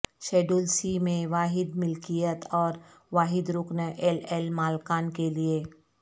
schedule C میں واحد ملکیت اور واحد رکن ایل ایل مالکان کے لئے